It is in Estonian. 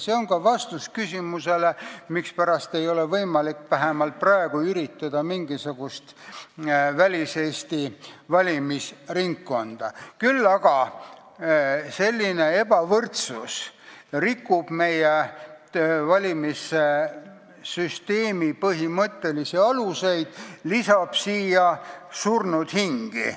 See on ka vastus küsimusele, mispärast ei ole vähemalt praegu võimalik üritada luua mingisugust väliseesti valimisringkonda, küll aga rikub selline ebavõrdsus meie valimissüsteemi põhimõttelisi aluseid, lisades siia surnud hingi.